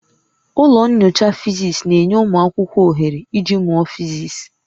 Ụlọ nyocha Fisis na-enye ụmụ akwụkwọ ohere iji mụọ physics